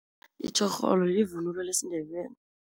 Itjhorholo livunulo lesiNdebele.